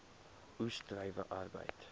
oes druiwe arbeid